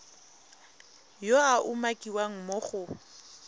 yo a umakiwang mo go